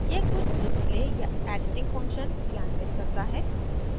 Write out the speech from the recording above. यह कुछ display या editing function क्रियान्वित करता है